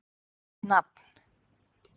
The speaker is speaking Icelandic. Ég skrifaði mitt nafn.